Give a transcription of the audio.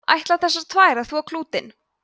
ætla þessar tvær að þvo klútinn